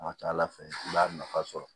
A ka ca ala fɛ i b'a nafa sɔrɔ